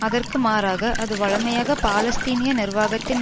அதற்கு மாறாக அது வழமையாக பாலஸ்தீனிய நிர்வாகத்தின்